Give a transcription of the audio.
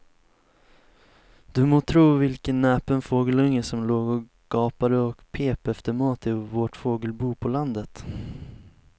Du må tro vilken näpen fågelunge som låg och gapade och pep efter mat i vårt fågelbo på landet.